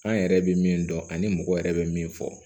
An yɛrɛ bɛ min dɔn ani mɔgɔ yɛrɛ bɛ min fɔ